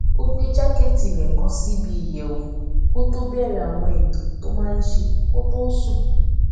ó gbé jákẹẹtì rẹ kọ sí ibi ìyẹwù kó tó bẹẹrẹ àwọn ètò tó máa n ṣe kó tó sùn